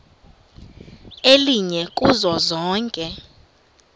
elinye kuzo zonke